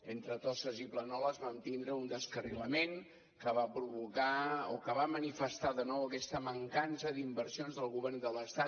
entre tosses i planoles vam tindre un descarrilament que va provocar o que va manifestar de nou aquesta mancança d’inversions del govern de l’estat